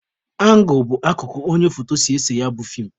Angụl bụ akụkụ onye foto si ese ya bụ feem